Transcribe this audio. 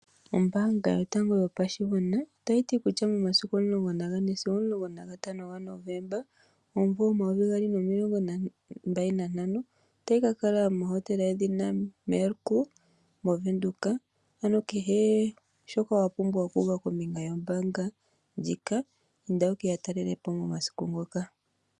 Ombaanga yotango yopashigwana ota yiti kutya momasiku o14-15 Novemba 2025 otayi kakala mohotela yedhina Mercure moWindhoek, ano kehe shoka wapumbwa okuuva kombinga yombaanga ndjika inda wukeya talele po momasiku ngoka.